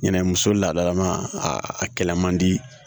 Ɲinɛ muso ladalama a kɛlɛ man di